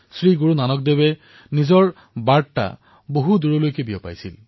শ্ৰী গুৰুনানক দেৱজীয়ে নিজৰ বাৰ্তা বিশ্বৰ বিভিন্ন প্ৰান্তলৈ প্ৰেৰণ কৰিছিল